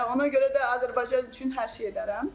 Ona görə də Azərbaycan üçün hər şey edərəm.